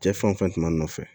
Cɛ fanfɛla nɔfɛ